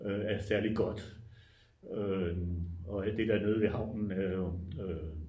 er særlig godt og alt det der nede ved havnen er jo